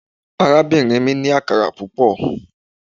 Arabinrin mi ni akara pupọ